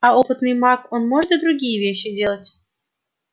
а опытный маг он может и другие вещи делать